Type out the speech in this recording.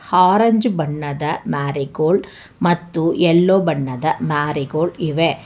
Orange ಬಣ್ಣದ marigold ಮತ್ತು yellow ಬಣ್ಣದ ಮಾರಿಗೋಲ್ಡ್ ಇವೆ.